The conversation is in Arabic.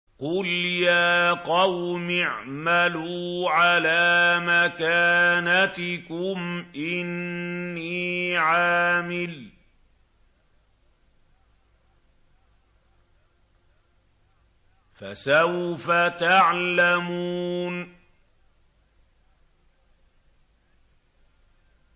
قُلْ يَا قَوْمِ اعْمَلُوا عَلَىٰ مَكَانَتِكُمْ إِنِّي عَامِلٌ ۖ فَسَوْفَ تَعْلَمُونَ